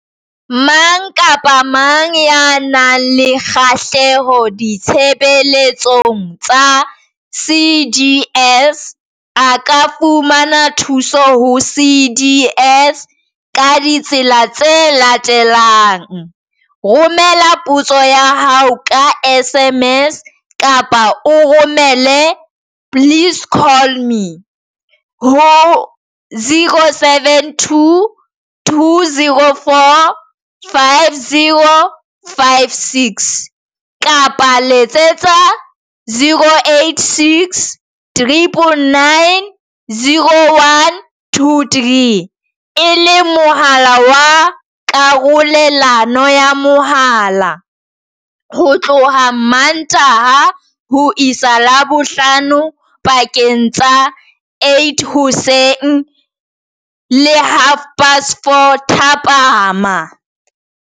Mang kapa mang ya nang le kgahleho ditshebeletsong tsa CDS a ka fumana thuso ho CDS ka ditsela tse latelang. Romela potso ya hao ka SMS kapa o romele please call me ho 072 204 5056, kapa Letsetsa 086 999 0123, e leng mohala wa karolelano ya mohala, ho tloha Mmantaha ho isa Labohlano pakeng tsa 8:00 hoseng le 4:30 thapama.